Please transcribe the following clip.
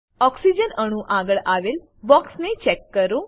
oxygen અણુ આગળ આવેલ બોક્સને ચેક કરો